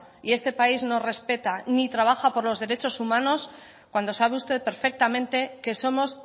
y este país no respeta ni trabaja por los derechos humanos cuando sabe usted perfectamente que somos